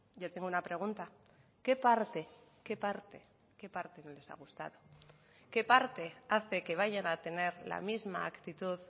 yo tengo una pregunta qué parte qué parte qué parte no les ha gustado qué parte hace que vayan a tener la misma actitud